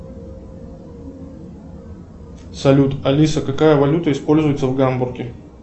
салют алиса какая валюта используется в гамбурге